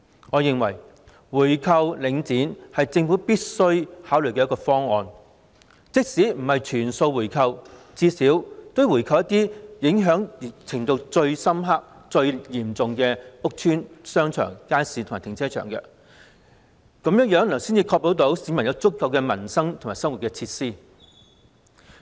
我認為回購領展是政府必須考慮的方案，即使不是全數回購，最低限度也要回購一些受影響最嚴重的屋邨、商場、街市和停車場，這樣才能確保市民有足夠的民生和生活設施。